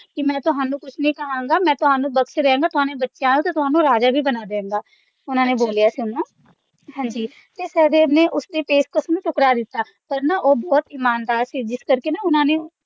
ਕਿ ਮੈਂ ਤੁਹਾਨੂੰ ਕੁਝ ਨਹੀਂ ਕਹਾਂਗਾ ਮੈਂ ਤੁਹਾਨੂੰ ਬਖਸ਼ ਰਿਹਾ ਹੈਗਾ ਤੁਹਾਨੂੰ ਬੱਚੇ ਹੈਗਾ ਹੈ ਤੁਹਾਨੂੰ ਰਾਜਾ ਵੀ ਬਣਾ ਦਿਆਂਗਾ ਉਨ੍ਹਾਂ ਦੇ ਬੋਲਿਆ ਸੀ ਓਹਨੂੰ ਹਾਂ ਜੀ ਤੇ ਸਹਿਦੇਵ ਨੇ ਉਸਦੀ ਪੇਸ਼ਕਸ਼ ਨੂੰ ਠੁਕਰਾ ਦਿੱਤਾ ਪਰ ਨਾ ਉਹ ਬਹੁਤ ਇਮਾਨਦਾਰ ਸੀ ਜਿਸ ਕਰਕੇ ਉਨ੍ਹਾਂ ਨੇ